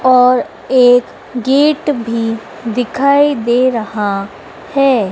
और एक गेट भी दिखाई दे रहा है।